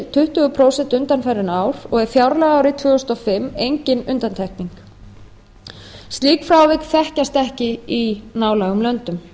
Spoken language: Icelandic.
tuttugu prósent undanfarin ár og er fjárlagaárið tvö þúsund og fimm engin undantekning slík frávik þekkjast ekki í nálægum löndum